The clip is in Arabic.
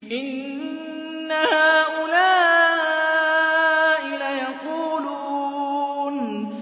إِنَّ هَٰؤُلَاءِ لَيَقُولُونَ